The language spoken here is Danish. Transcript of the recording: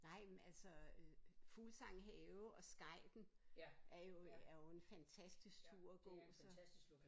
Nej men altså øh Fuglsang Have og Skejten er jo er jo en fantastisk tur at gå altså